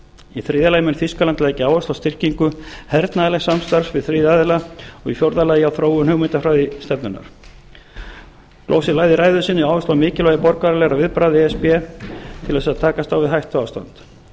í þriðja lagi mun þýskaland leggja áherslu á styrkingu hernaðarlegs samstarfs við þriðja aðila og í fjórða lagi og í fjórða lagi á þróun hugmyndafræðistefnunnar gloser lagði í ræðu sinni áherslu á mikilvægi borgaralegra viðbragða e s b til að takast á við hættuástand